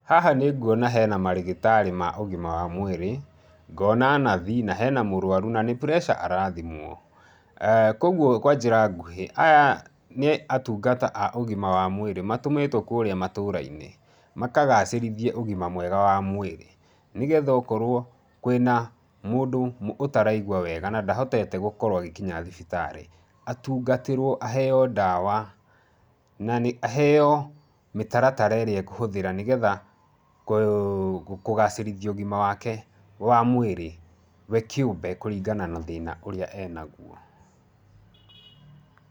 Haha nĩ nguona hena marĩgĩtarĩ ma ũgima wa mwĩrĩ, ngona nathi, na he na mũrwaru na ni pressure arathimwo. Kwoguo kwa njĩra nguhĩ, aya nĩ atungata a ũgima wa mwĩrĩ. Matũmĩtwo kũrĩa matũrainĩ makagacĩrithie ũgima mwega wa mwĩrĩ, nĩ getha ũkorũo kwĩ na mũndũ ũtaraigua wega na ndahotete gũkorũo agĩkinya thibitarĩ, atungatĩrwo aheo ndawa na nĩ aheo mĩtaratara ĩrĩa ekũhũthĩra nĩ getha kũgacĩrithia ũgima wake wa mwĩrĩ we kĩũmbe kũringana na thĩĩna ũrĩa enaguo.